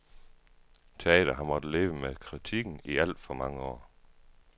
Teater har måttet leve med kritikken i alt for mange år.